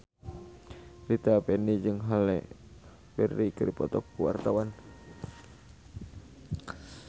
Rita Effendy jeung Halle Berry keur dipoto ku wartawan